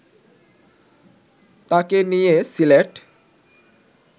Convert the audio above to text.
তাকে নিয়ে সিলেট